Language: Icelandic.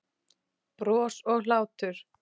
Bros og hlátur.